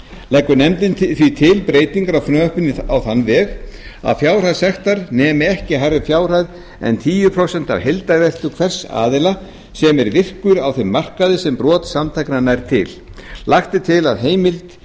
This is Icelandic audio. leggur nefndin því til breytingu á frumvarpinu á þann veg að fjárhæð sektar nemi ekki hærri fjárhæð en tíu prósent af heildarveltu hvers aðila sem er virkur á þeim markaði sem brot samtakanna nær til lagt er til að heimild